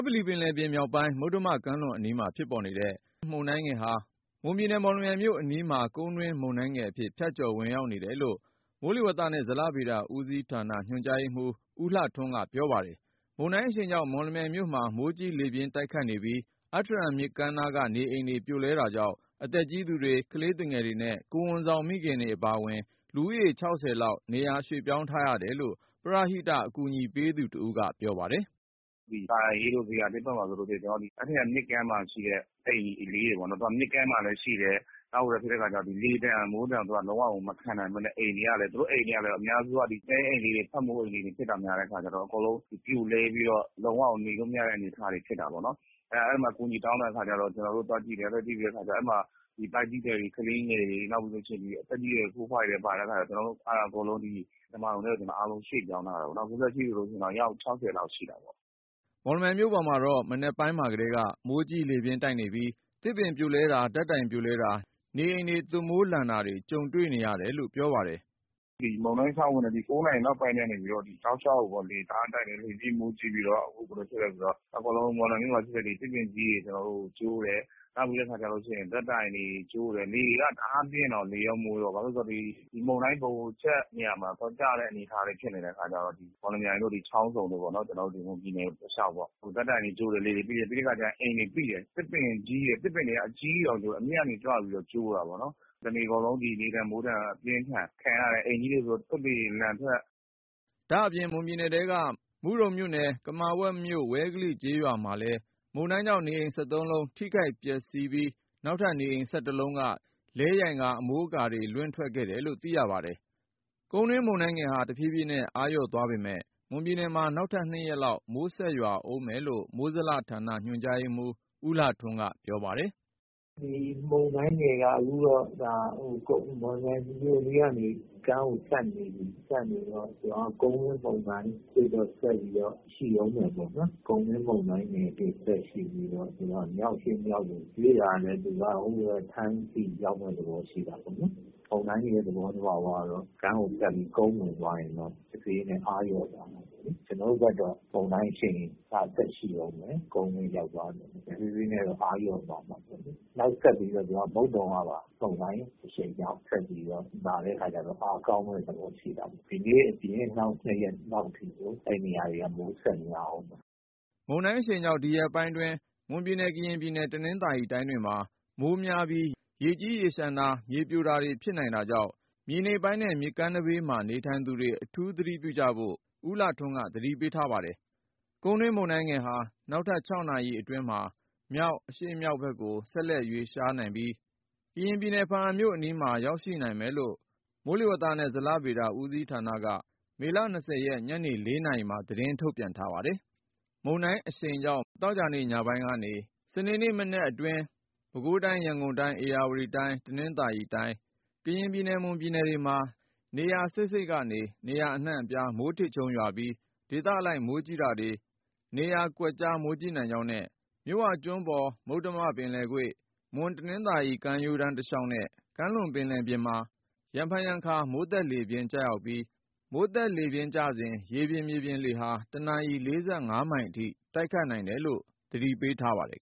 ပလီပင်လယ်ပြင်မြောက်ပိုင်း မှာ ဖြစ်ပေါ်နေတဲ့ Depression မုန်တိုင်းငယ်ဟာ မွန်ပြည်နယ် မော်လမြိုင်မြို့အနီးမှာ ကုန်းတွင်းမုန်တိုင်းငယ်အဖြစ် ဖြတ်ကျော် ဝင်ရောက်နေတယ်လို့ မိုးလေဝသနဲ့ ဇလဗေဒဌာန ညွှန်ကြားရေးမှူး ဦးလှထွန်းက ပြောပါတယ်။ မုန်တိုင်းအရှိန်ကြောင့် မော်လမြိုင်မြို့မှာ မိုးကြီးလေပြင်းတိုက်ခတ်နေပြီး အတ္ထရံမြစ်ကမ်းနားက နေအိမ်တွေ ပြိုလဲတာကြောင့် အသက်ကြီးသူတွေ ကလေးသူငယ်တွေနဲ့ ကိုယ်ဝန်ဆောင်မိခင် အပါအဝင် လူဦးရေ ၆၀ လောက် နေရာပြောင်းရွှေ့ထားရတယ်လို့ ပရဟိအကူအညီပေးသူက ပြောပါတယ်။ “ဒီသာယာအေးတို့၊ ဇေယျာသစ်ဘက်မှာဆိုလို့ရှိရင် အတ္တရံမြစ်ကမ်းမှာရှိတဲ့ အိမ်လေးတွေပေါ့နော်။ သူက မြစ်ကမ်းမှာလည်းရှိတယ်။ နောက်ဘာဖြစ်လဲဆိုတော့ လေဒဏ်မိုးဒဏ် လုံးဝကို မခံဘဲနဲ့ သူတို့အိမ်တွေကလည်း အများအားဖြင့် ဒီတဲအိမ်လေးတွေ ဖက်မိုးအိမ်လေးတွေဖြစ်တာများတဲ့အခါကျတော့ အကုန်လုံးပြိုလဲပြီးတော့ လုံးဝကို နေလို့မရတဲ့ အနေအထားတွေ ဖြစ်တာပေါ့နော်။ အဲ့ဒါ အဲ့မှာအကူအညီတောင်းတဲ့အခါကျတော့ ကျနော်တို့သွားကြည့်တယ်၊ သွားကြည့်ပြီး အဲ့မှာ ဗိုက်ကြီးသည်တွေ၊ ကလေးငယ်တွေ နောက်ပြီးလို့ရှိရင် ဒီအသက်ကြီးအရွယ် အဖိုးအဖွားတွေလည်း ပါတဲ့အခါကျတော့ ကျနော်တို့ အဲ့ဒါအကုန်လုံး ဓမ္မာရုံထဲကို ကျနော်အားလုံးရွှေ့ပြောင်းထားတာပေ့ါနော်။ အခုလက်ရှိဆိုလို့ရှိရင် အယောက် ၆၀ လောက်ရှိတာပေါ့။” မော်လမြိုင်မြို့ပေါ်မှာတော့ မနက်ပိုင်းတည်းက မိုးကြီးလေပြင်းတိုက်ခတ်နေပြီး သစ်ပင်ပြိုလဲတာတွေ ဓာတ်တိုင်ပြိုလဲတာ နေအိမ်တွေရဲ့ သွပ်မိုးလန်တာတွေကြုံတွေ့နေရတာလို့ ပြောပါတယ်။ “ဒီမုန်တိုင်းစဝင်တဲ့ ၉ နာရီနောက်ပိုင်းကနေပြီးတော့ တောက်လျှောက်ပေါ့။ လေတအားတိုက် တယ်။ လေပြင်းမိုးကြီးပြီးတော့ အခုဘယ်လိုဖြစ်လဲဆိုတော့ အားလုံးမော်လမြိုင်မြို့မှာရှိတဲ့ သစ်ပင်ကြီးတွေ ကျိုးတယ်။ နောက်ပြီးတော့ ဓာတ်တိုင်တွေ ကျိုးတယ်။ လေကတအားပြင်းတော့ လေရောမိုးရော ဘာဖြစ်လဲဆိုတော့ ဒီမုန်းတိုင်ဗဟိုချက်နေရာမှာ သွားကျတဲ့ အနေအထားလည်းဖြစ်တဲ့အခါကျတော့ မော်လမြိုင်တို့ ဒီချောင်းဆုံတို့ပေါ့နော်။ ကျနော်တို့ ဒီမွန်ပြည်နယ်တလျှောက်ပေါ့။ ဓာတ်တိုင်တွေကျိုးတယ်။ ပြီးတော့အခါကျ အိမ်တွေ ပိတယ်။ သစ်ပင်ကြီးတွေ သစ်ပင်ကအကြီးတွေ အမြင့်ကနေကျိုးတာပေါ့နော်။ တနေ့ကုန်လေဒဏ်မိုးဒဏ်ပြင်းထန်၊ ခံရတယ်။ အိမ်ကြီးတွေဆိုရင် သွပ်တွေ လန်ထွက်တယ်။” ဒါအပြင့် မွန်ပြည်နယ်ထဲက မုဒုံမြို့နယ် ကမာဝက်မြို့ ဝဲကလိကျေးရွာမှာလည်း မုန်တိုင်းကြောင့် နေအိမ် ၁၃ လုံး ထိခိုက်ပျက်စီးပြီး နောက်ထပ် နေအိမ် ၁၁ လုံးက လဲယိုင် အမိုးအကာတွေ လွင့်ထွက်ခဲ့တယ်လို့ သိရပါတယ်။ ကုန်းတွင်းမုန်တိုင်းငယ်ဟာ တဖြေးဖြေးနဲ့ အားလျော့သွားပေမယ့် မွန်ပြည်နယ်မှာ နောက်ထပ် ၂ ရက်လောက် မိုးဆက်များအုံးမယ်လို့ မိုးလေဝသနဲ့ ဇလဗေဒဌာန ညွှန်ကြားရေးမှူး ဦးလှထွန်းက ပြောပါတယ်။ “ဒီမုန်တိုင်းငယ်က အခုတော့ ဒါမော်လမြိုင်မြို့အနီးကနေ ကမ်းကိုဖြတ်နေပြီ။ ကမ်းဖြတ်နေတော့ သူကကုန်းမြင့်မုန်းတိုင်ဆက်ပြီးတော့ ရှိအုံးမယ်ပေါ့နော်။ ကုန်းမြင့်မုန်တိုင်းငယ်အဖြင့် ဆက်ရှိနေတော့ဆိုတော့ မြောက်အရှေ့မြောက်ရယ် ရွေ့လာမယ် သူက ထိုင်းဆီရောက်မယ့်သဘောရှိတာပေါ့နော်။ မုန်တိုင်းရဲ့ သဘောသဘာဝတော့ ကမ်းကိုဖြတ်ပြီး ကုန်းဝင်သွားတယ်ဆိုတော့ တဖြေးဖြေးနဲ့ အားလျော့သွားမယ်ပေ့ါလေး။ ကျနော်တို့ဘက်တော့ မုန်တိုင်းအရှိန်က ဆက်ရှိအုံးမယ်။ ကုန်းမြင့်ရောက်သွားမယ်ပေါ့။ တဖြေးဖြေးနဲ့တော့ အားလျော့သွားမှာပေါ့လေး။ နောက်ဆက်ပြီးတော့ သူက မုတ်သုံးကပါ မုန်တိုင်းအရှိန်ကြောင့် ဆက်ပြီးတော့ လာတဲ့အခါကျတော့ အားကောင်းမယ့်သဘောမှာရှိတာပေါ့။ ဒီနေ့အပြင်နောက် နှစ်ရက်လောက်အထိကို အဲ့နေရာတွေက မိုးဆက်များအုံးမယ်။” မုန်တိုင်းအရှိန်ကြောင့် ဒီရက်ပိုင်းမှာ မွန်ုပြည်နယ် ကရင်ပြည်နယ် တနင်္သာရီတိုင်းတွေမှာ မိုးများပြီး ရေကြီးရေလျှံတာမှုတွေ မြေပြိုမှုတွေ ဖြစ်နိုင်တာကြောင့် မြေနိမ့်ပိုင်းနဲ့ မြစ်ကမ်းဘေးမှာ နေထိုင်သူတွေ အထူးသတိပြုဖို့ ဦးလှထွန်းက သတိပေးထားပါတယ်။ ကုန်းတွင်းမုန်တိုင်းငယ်ဟာ နောက် ၆ နာရီအတွင်းမှာ မြောက်-အရှေ့မြောက်ဘက့်ကို ဆက်လက်ရွေ့လျားပြီး ကရင်ပြည်နယ် ဘားအံမြို့အနီးမှာ ရောက်ရှိနိုင်မယ်လို့ မိုးလေဝသနဲ့ ဇလဗေဒဌာနက မေလ ၂၀ ရက် ဒီနေ့ ညနေ ၄ နာရီမှာ ထုတ်ပြန်ထားပါတယ်။ မုန်တိုင်းအရှိန်ကြောင့် မေလ ၂၀ ရက် ဒီနေ့ညနေပိုင်းကနေ ၂၁ ရက်နေ့အတွင်း ပဲခူးတိုင်း၊ ရန်ကုန်တိုင်း၊ ဧရာဝတီတိုင်း၊ တနင်္သာရီတိုင်း၊ ကရင်ပြည်နယ်၊ မွန်ပြည်နယ်တွေမှာ နေရာစိပ်စိပ်ကနေ နေရာအနှံ့အပြား မိုးထစ်ချုန်းရွာပြီး ဒေသအလိုက်မိုးကြီးတာတွေ နေရာကွက် မိုးကြီးနိုင်ကြောင်းနဲ့ မြစ်ဝကျွန်းပေါ်၊ မုတ္တမကွေ့၊ မွန်-တနင်္သာရီကမ်းရိုးတန်းတလျှောက်နဲ့ ကမ်းလွန်ပင်လယ်ပြင်တို့မှာ ရံဖန်ရံခါ မိုးသက်လေပြင်းများ ကျရောက်ပြီး လှိုင်းကြီးရာကနေ လှိုင်းအလွန်ကြီးနိုင်ပြီး မိုးသက်လေပြင်းကျစဉ် ရေပြင်၊ မြေပြင်လေဟာ တနာရီ ၄၅ မိုင်အထိ တိုက်ခတ်နိုင်တယ်လို့ သတိပေးထားပါတယ်